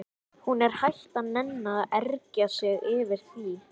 Hún er hætt að nenna að ergja sig yfir því.